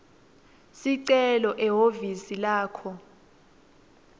sicelo ehhovisi lakho